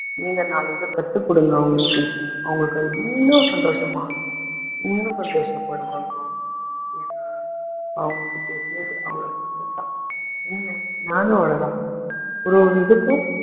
நீங்க நாலு இதை கத்துக்கொடுங்க அவங்களுக்கு அவங்களுக்கு இன்னும் சந்தோஷமா இருக்கும் இன்னும் சந்தோஷப்படுவாங்க அவங்க ஏன்னா அவங்களுக்கு தெரிஞ்சது அவ்ளோ மட்டும் தான் என்ன நானும் அவ்ளோதான் ஒரு ஒரு இதுக்கும்